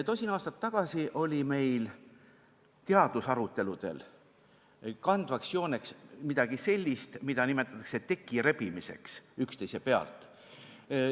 Tosin aastat tagasi oli meil teadusaruteludel kandvaks jooneks midagi sellist, mida nimetatakse üksteise pealt teki rebimiseks.